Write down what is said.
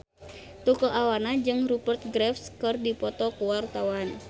Tukul Arwana jeung Rupert Graves keur dipoto ku wartawan